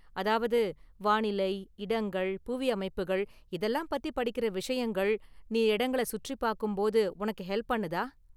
அதாவது​​ வானிலை, இடங்கள், புவி அமைப்புகள் இதெல்லாம் பத்தி படிக்கிற விஷயங்கள், நீ இடங்கள சுற்றிபார்க்கும் போது உனக்கு ஹெல்ப் பண்ணுதா?